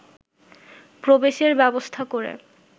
প্রবেশের ব্যবস্থা করে